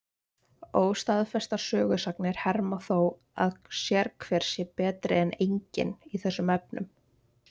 Óstaðfestar sögusagnir herma þó að sérhver sé betri en enginn í þessum efnum.